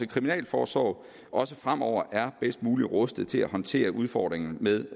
kriminalforsorgen også fremover er bedst muligt rustet til at håndtere udfordringerne med